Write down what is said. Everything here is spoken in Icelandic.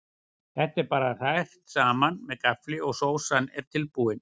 Þetta er bara hrært saman með gaffli og sósan er tilbúin.